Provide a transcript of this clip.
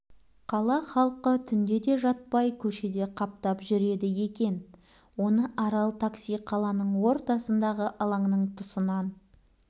қала халқы түңде де жатпай көшеде қаптап жүреді екен оны арал такси қаланың ортасындағы алаңның тұсынан